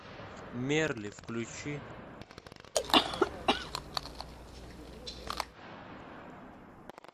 мерли включи